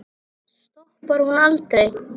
Stoppar hún aldrei?